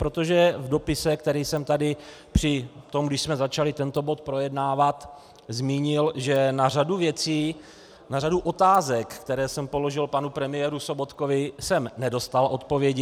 Protože v dopise, který jsem tady při tom, když jsme začali tento bod projednávat, zmínil, že na řadu věcí, na řadu otázek, které jsem položil panu premiérovi Sobotkovi, jsem nedostal odpovědi.